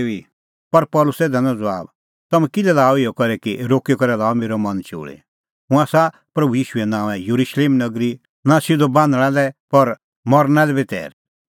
पर पल़सी दैनअ ज़बाब तम्हैं किल्है लाअ इहअ करी कि रोक्की करै लाअ मेरअ मन चोल़ी हुंह आसा प्रभू ईशूए नांओंए येरुशलेम नगरी नां सिधअ बान्हणां लै पर मरना लै बी तैर